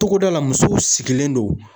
Togoda la musow sigilen don